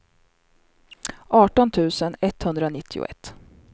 arton tusen etthundranittioett